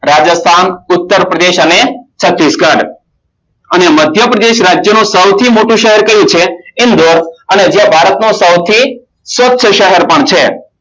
રાજસ્થાન ઉત્તરપ્રદેશ અને છત્તીસગઢ અને મધ્યપ્રદેશ રાજનું સૌથી મોટું પ્રદેશ કયું છે અને તે ભારતનો સૌથી સપ્ત શહેર પણ છે